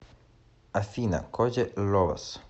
афина коди ловас